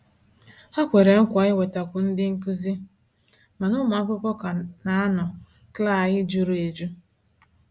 Ha kwere nkwa iwetakwu ndị nkuzi, mana ụmụ akwụkwọ ka na -anọ klaaai jụrụ ejụ.